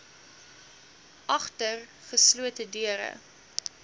agter geslote deure